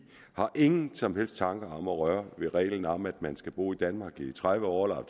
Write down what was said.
har ingen som helst tanker om at røre ved reglen om at man skal bo i danmark i tredive år eller